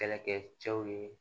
Kɛlɛkɛ cɛw ye